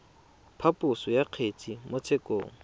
phaposo ya kgetse mo tshekong